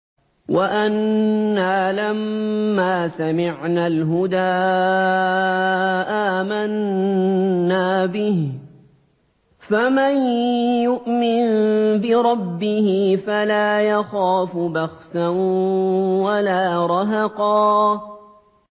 وَأَنَّا لَمَّا سَمِعْنَا الْهُدَىٰ آمَنَّا بِهِ ۖ فَمَن يُؤْمِن بِرَبِّهِ فَلَا يَخَافُ بَخْسًا وَلَا رَهَقًا